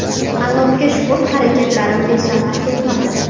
Allohga shukr, harakatlarim besamar ketmadi.